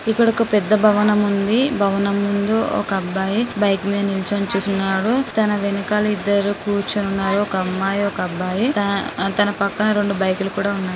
ఇక్కడ ఒక పెద్ద భవనం ఉంది. భవనం ముందు ఒక అబ్బాయి బైక్ మీద నిల్చని చూస్తున్నాడు .తన వెనకాల ఇద్దరు కూర్చొని ఉన్నారు. ఒక అమ్మాయి ఒక అబ్బాయి తన-తనపక్కన రెండు బైకు లు కూడా ఉన్నాయి .